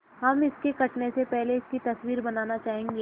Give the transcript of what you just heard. हम इसके कटने से पहले इसकी तस्वीर बनाना चाहेंगे